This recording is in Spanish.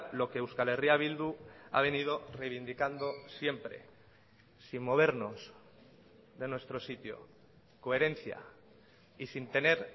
lo que euskal herria bildu ha venido reivindicando siempre sin movernos de nuestro sitio coherencia y sin tener